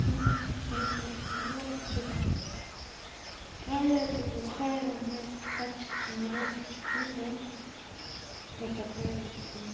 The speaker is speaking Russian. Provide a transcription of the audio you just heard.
ну ка быстро свалила отсюда тая ты глухая у неё это старческий маразм прикинь да вот такая вот фигня